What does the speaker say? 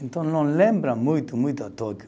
Então não lembra muito, muito a Tóquio.